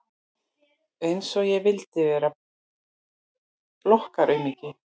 Einsog ég vildi vera blokkaraaumingi!